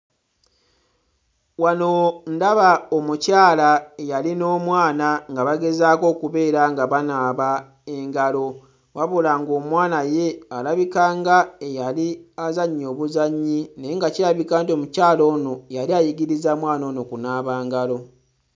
Wano ndaba omukyala eyali n'omwana nga bagezaako okubeera nga banaaba engalo wabula ng'omwana ye alabika nga eyali azannya obuzannyi naye nga kirabika nti omukyala ono yali ayigiriza mwana ono kunaaba ngalo.